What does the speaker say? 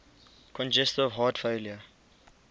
congestive heart failure